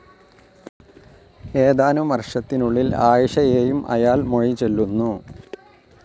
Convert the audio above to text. ഏതാനം വർഷത്തിനുള്ളിൽ ആയിഷയേയും അയാൾ മൊഴിചൊല്ലുന്നു.